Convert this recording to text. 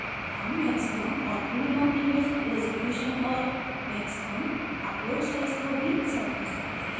हम maximum और minimum image resolution और maximum upload size को भी set कर सकते हैं